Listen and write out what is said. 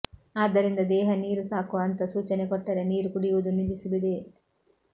ಆದ್ದರಿಂದ ದೇಹ ನೀರು ಸಾಕು ಅಂತ ಸೂಚನೆ ಕೊಟ್ಟರೆ ನೀರು ಕುಡಿಯುವುದು ನಿಲ್ಲಿಸಿಬಿಡಿ